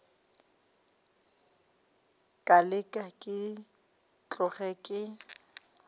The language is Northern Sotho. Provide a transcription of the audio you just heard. ka leke ke tloge ke